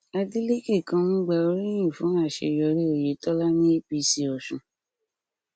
adélèke kan ń gba oríyìn fún àṣeyọrí oyetola ní apc ọsùn